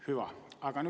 Hüva!